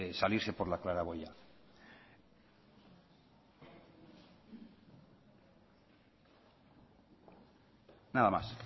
salirse por la claraboya nada más